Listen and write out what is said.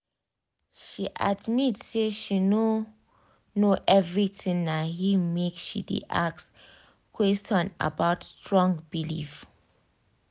she admit say she no know everythingna him make she de ask questions about strong belief